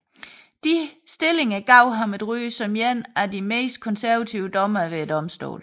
Disse stillinger gav ham et ry som en af de mest konservative dommere ved domstolen